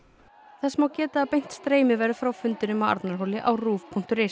þess má geta að beint streymi verður frá fundinum á Arnarhóli á ruv punktur is